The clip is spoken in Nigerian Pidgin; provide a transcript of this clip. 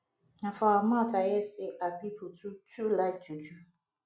na for her mouth i hear sey her pipu too too like juju